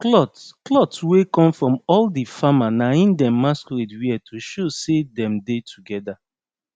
cloth cloth wey come from all the farmer na en dem masquerade wear to show sey dem dey together